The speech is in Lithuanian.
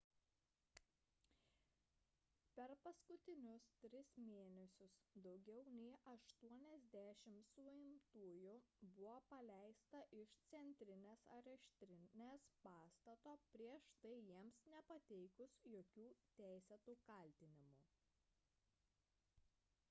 per paskutinius tris mėnesius daugiau nei 80 sumtųjų buvo paleista iš centrinės areštinės pastato prieš tai jiems nepateikus jokių teisėtų kaltinimų